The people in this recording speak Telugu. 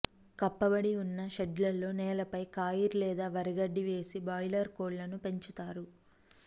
కప్పబడి ఉన్న షెడ్లులో నేలపై కాయిర్ లేదా వరిగడ్డి వేసి బాయిలర్ కోళ్లను పెంచుతారు